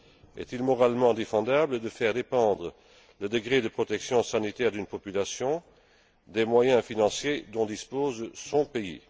Est il moralement défendable de faire dépendre le degré de protection sanitaire d'une population des moyens financiers dont dispose son pays?